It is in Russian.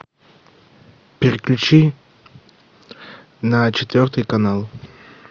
переключи на четвертый канал